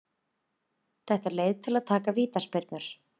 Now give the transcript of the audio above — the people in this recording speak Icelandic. Þetta er leið til að taka vítaspyrnur.